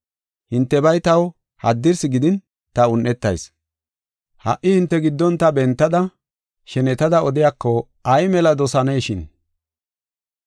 Hintebay taw haddin ta un7etas; ha77i hinte giddon ta bentada shenetada odiyako ay mela dosaynashin.